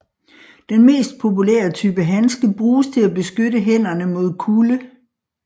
Den mest populære type handske bruges til at beskytte hænderne mod kulde